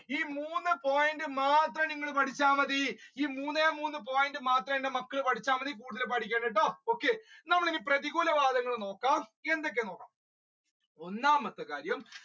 ഈ മൂന്ന് point മാത്രം നിങ്ങൾ പഠിച്ച മതി ഈ മൂന്നേ മൂന്ന് മാത്രം എന്റെ മക്കൾ പഠിച്ച മതി കൂടുതൽ പഠിക്കണ്ടട്ടോ okay നമ്മൾ ഇനി പ്രതികൂല വാദങ്ങൾ നോക്കാം എന്തൊക്കെയാണ് ഒന്നാമത്തെ കാര്യം